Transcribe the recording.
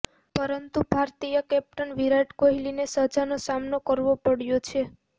પરંતુ ભારતીય કેપ્ટન વિરાટ કોહલીને સજાનો સામનો કરવો પડ્યો છે